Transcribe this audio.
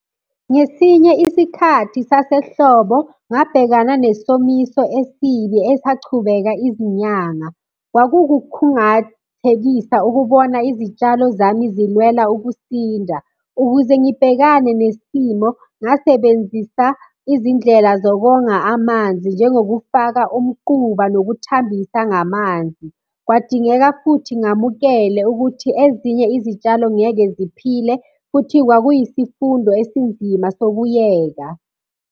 Ngesinye isikhathi sasehlobo ngabhekana nesomiso esibi esachubeka izinyanga. Kwakukukhungathekisa ukubona izitshalo zami zilwela ukusinda, ukuze ngibhekane nesimo, ngasebenzisa izindlela zokonga amanzi, njengokufaka umquba nokuthambisa ngamanzi. Kwadingeka futhi ngamukele ukuthi ezinye izitshalo ngeke ziphile, futhi kwakuyisifundo esinzima sokuyeka.